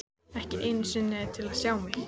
Ekki einu sinni til að sjá mig.